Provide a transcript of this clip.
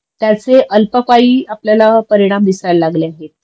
त्याचे अल्पपाई आपल्याला परिणाम दिसायला लागले आहेत